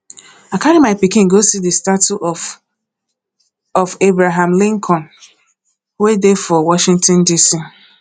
i carry my pikin go see the statue of of abraham lincoln wey dey for washington dc